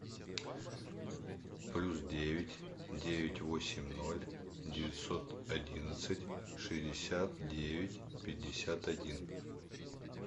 плюс девять девять восемь ноль девятьсот одиннадцать шестьдесят девять пятьдесят один